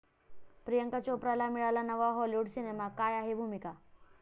प्रियांका चोप्राला मिळाला नवा हाॅलिवूड सिनेमा, काय आहे भूमिका?